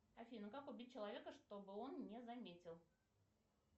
афина как убить человека чтобы он не заметил